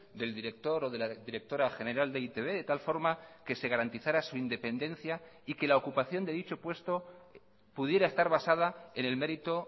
del director o de la directora general de e i te be de tal forma que se garantizara su independencia y que la ocupación de dicho puesto pudiera estar basada en el mérito